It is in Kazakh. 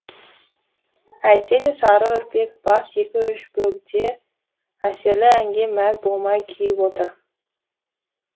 әйтсе де сары үрпек бас екі үш бөгде әсерлі әнге мәз болмай күйіп отыр